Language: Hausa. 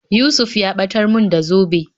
Yusuf ya ɓatar mun da zobe